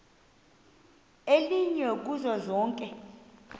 elinye kuzo zonke